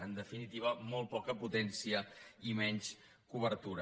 en definitiva molt poca potència i menys cobertura